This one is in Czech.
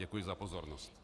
Děkuji za pozornost.